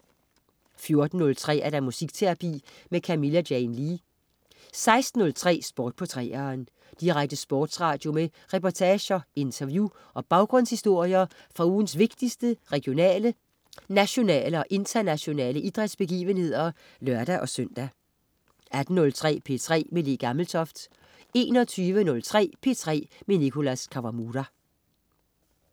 14.03 Muskterapi med Camilla Jane Lea 16.03 Sport på 3'eren. Direkte sportsradio med reportager, interview og baggrundshistorier fra ugens vigtigste regionale, nationale og internationale idrætsbegivenheder (lør-søn) 18.03 P3 med Le Gammeltoft 21.03 P3 med Nicholas Kawamura